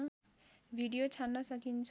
video छान्न सकिन्छ